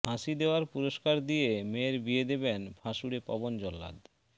ফাঁসি দেওয়ার পুরস্কার দিয়ে মেয়ের বিয়ে দেবেন ফাঁসুড়ে পবন জল্লাদ